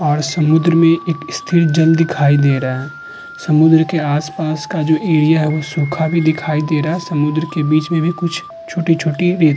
और समुन्द्र में एक स्थिर जल दिखाई दे रहा है। समुंद्र के आस-पास का जो एरिया है वो सूखा भी दिखाई दे रहा है। समुंद्र के बीच में भी कुछ छोटी-छोटी रेत --